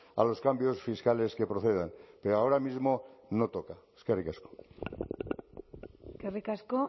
a los cambios fiscales que procedan pero ahora mismo no toca eskerrik asko eskerrik asko